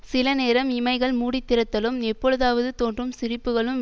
சில நேரம் இமைகள் மூடி திறத்தலும் எப்பொழுதாவது தோன்றும் சிரிப்புக்களும்